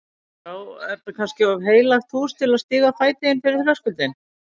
Já, er þetta kannski of heilagt hús til að stíga fæti inn fyrir þröskuldinn?